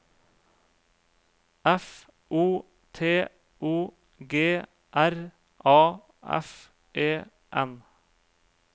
F O T O G R A F E N